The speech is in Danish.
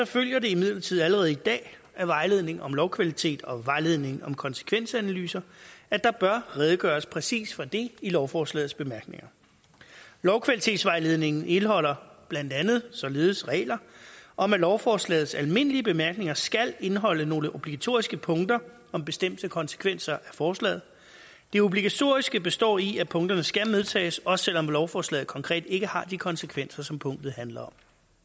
følger det imidlertid allerede i dag af vejledning om lovkvalitet og vejledning om konsekvensanalyser at der bør redegøres præcis for det i lovforslagets bemærkninger lovkvalitetsvejledningen indeholder blandt andet således regler om at lovforslagets almindelige bemærkninger skal indeholde nogle obligatoriske punkter om bestemte konsekvenser af forslaget det obligatoriske består i at punkterne skal medtages også selv om lovforslaget konkret ikke har de konsekvenser som punktet handler